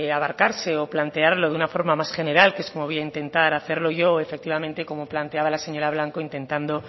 abarcarse o plantearlo de una forma más general como voy a intentar hacerlo yo efectivamente como planteaba la señora blanco intentando